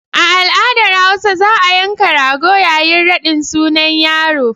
A al'adar hausa za a yanka rago yayin raɗin sunan yaro.